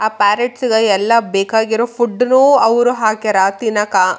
ಆ ಪ್ಯಾರಟ್ ಎಲ್ಲ ಬೇಕಾಗಿರೋ ಫುಡ್ಡ್ ನು ಅವ್ರು ಹಾಕ್ಯಾರ ತಿನ್ನಾಕ.